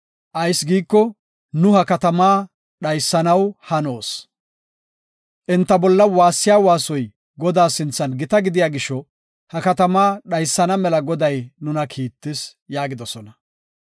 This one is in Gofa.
Ayis giiko, nu ha katama dhaysanaw hanoos. Enta bolla waassiya waasoy Godaa sinthan gita gidiya gisho ha katama dhaysana mela Goday nuna kiittis” yaagidosona.